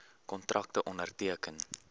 kontrakte onderteken